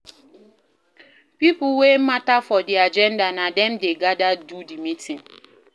Pipo wey matter for di agenda na dem de gather do di meeting